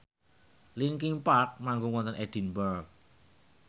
linkin park manggung wonten Edinburgh